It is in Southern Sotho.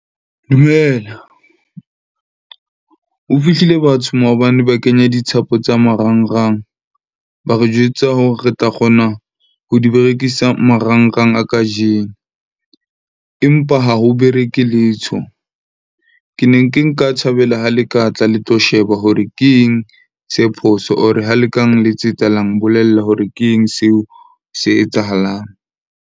Dumela, ho fihlile batho maobane ba kenya dithapo tsa marangrang, ba re jwetsa hore re tla kgona ho di berekisa marangrang a kajeno. Empa ha ho bereke letho. Ke ne ke nka thabela ha le ka tla le tlo sheba hore ke eng se phoso or ha le ka nletsetsa la mbolella hore ke eng seo se etsahalang.